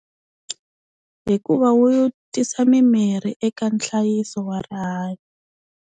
Hikuva wu tisa mimirhi eka nhlayiso wa rihanyo.